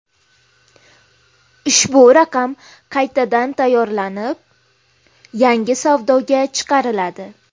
Ushbu raqam qaytadan tayyorlanib, yangi savdoga chiqariladi.